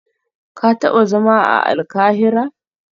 Ka taba zama a Alkahira?